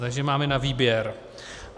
Takže máme na výběr.